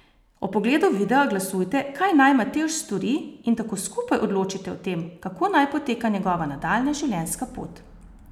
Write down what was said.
Ob ogledu videa glasujte, kaj naj Matevž stori in tako skupaj odločite o tem, kako naj poteka njegova nadaljnja življenjska pot.